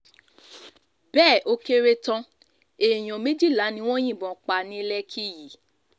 bẹ́ẹ̀ ó kéré tán èèyàn méjìlá ni wọ́n yìnbọn pa ní lékì yìí